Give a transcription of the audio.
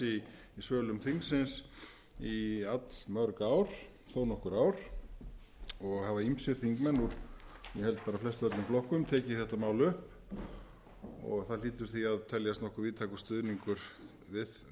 í sölum þingsins í þó nokkur ár og hafa ýmsir þingmenn úr ég held bara flestöllum flokkum tekið þetta mál upp það hlýtur því að teljast nokkur stuðningur við